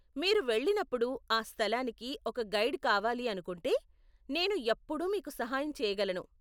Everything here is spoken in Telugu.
మీరు వెళ్ళినప్పుడు ఆ స్థలానికి ఒక గైడ్ కావాలి అనుకుంటే, నేను ఎప్పుడు మీకు సహాయం చేయగలను.